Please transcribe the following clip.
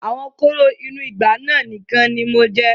Àwọn kóró inú ìgbá náà nìkan ni mo jẹ.'